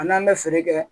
An n'an bɛ feere kɛ